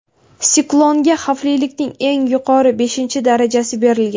Siklonga xavflilikning eng yuqori, beshinchi darajasi berilgan.